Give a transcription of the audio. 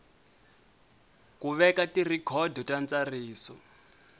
ku veka tirhikhodo ta ntsariso